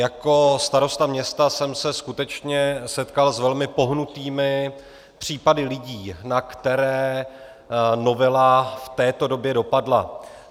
Jako starosta města jsem se skutečně setkal s velmi pohnutými případy lidí, na které novela v této době dopadla.